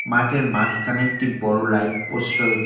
মাঠের মাসখানে একটি বড়ো লাইট পোস্ট রয়েছ --